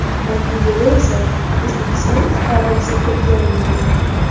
Natijada esa O‘zbekiston fuqarosi qo‘lga olingan.